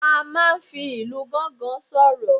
A máa n fi Ilu gangan soro